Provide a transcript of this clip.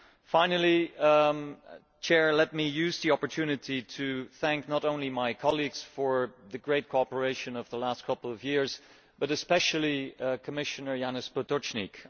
Finally, let me take the opportunity to thank not only my colleagues for the great cooperation of the last couple of years, but especially Commissioner Janez Potočnik.